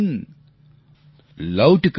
लौट कभी आएगा